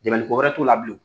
Dɛmɛni ko wɛrɛ t'u la bilen.